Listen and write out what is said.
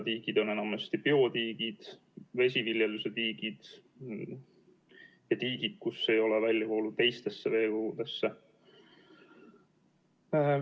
Tiigid on enamasti biotiigid, vesiviljeluse tiigid ja tiigid, kus ei ole väljavoolu teistesse veekogudesse.